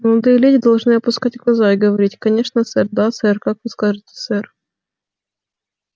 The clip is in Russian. молодые леди должны опускать глаза и говорить конечно сэр да сэр как вы скажете сэр